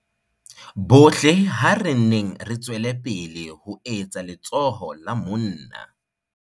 Bohle ha re nneng re tswe lepele ho etsa letsoho la monna.